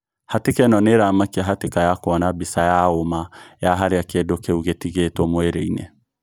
Hatika ino niiramakia hatika ya kuona mbica ya omaa ya haria kindũ kiû gĩtigĩtwo mwĩrĩ-ini.